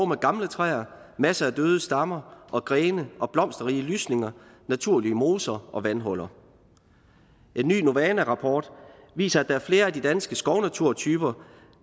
med gamle træer masser af døde stammer og grene og blomsterrige lysninger naturlige moser og vandhuller en ny novana rapport viser at der er flere af de danske skovnaturtyper